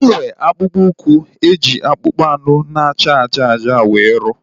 Enwere m akpụkpọ ụkwụ e ji akpụkpọ anụ na acha ájá ájá were rụọ